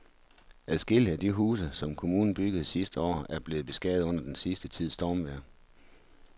Adskillige af de huse, som kommunen byggede sidste år, er blevet beskadiget under den sidste tids stormvejr.